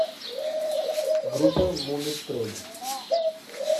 группа мумий тролль